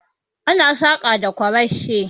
Ana saƙa da ƙwarashi